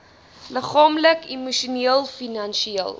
liggaamlik emosioneel finansieel